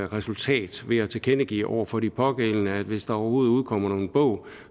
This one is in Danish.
resultat ved at tilkendegive over for de pågældende at hvis der overhovedet udkommer nogen bog